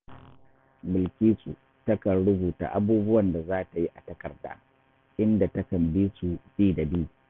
Bilkisu takan rubuta abubuwan da za ta yi a takarda, inda takan bi su, bi da bi